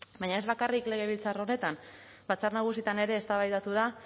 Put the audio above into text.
baina ez bakarrik legebiltzar honetan batzar nagusietan ere eztabaidatu da